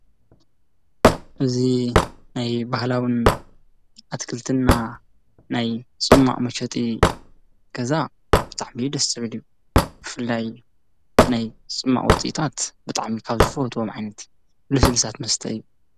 እዚ ናይ ባህላዊ ኣትክልትና ናይ ፅማቅ መሸጢ ገዛ ብጣዕሚ ደስ ዝብል እዩ ብፍላይ ናይ ፅማቅ ውጽኢታት ብጣዕሚ ካብ ዝፈትዎም ዓይነታት ልስሉሳት መስተ እዩ፡፡